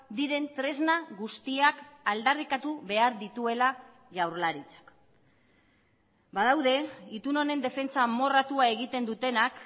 diren tresna guztiak aldarrikatu behar dituela jaurlaritzak badaude itun honen defentsa amorratua egiten dutenak